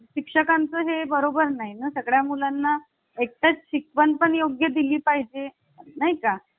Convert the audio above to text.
मग शिक्षकांचे हे बरोबर नाही ना सगळ्या मुलांना exact शिकवण पण योग्य दिली पाहिजे नाही का